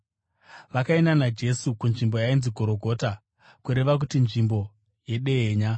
Vakaenda naJesu kunzvimbo yainzi Gorogota (kureva kuti Nzvimbo yeDehenya).